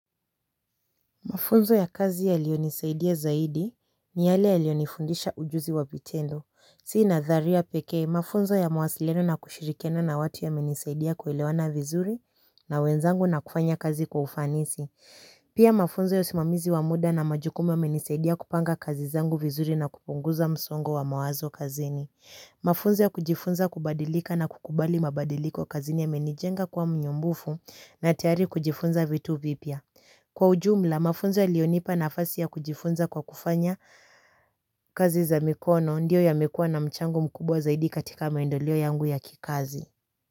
Mafunzo ya kazi yaliyo nisaidia zaidi ni yale yalionifundisha ujuzi wa vitendo. Si nadharia pekee, mafunzo ya mwasiliano na kushirikiana na watu yamenisaidia kuelewana vizuri na wenzangu na kufanya kazi kwa ufanisi. Pia mafunzo ya usimamizi wa muda na majukumu yamenisaidia kupanga kazi zangu vizuri na kupunguza msongo wa mawazo kazini. Mafunzo ya kujifunza kubadilika na kukubali mabadiliko kazini yamenijenga kuwa mnyumbufu na tayari kujifunza vitu vipya. Kwa ujumla mafunzo iliyonipa nafasi ya kujifunza kwa kufanya kazi za mikono ndiyo yamekuwa na mchango mkubwa zaidi katika maendeleo yangu ya kikazi.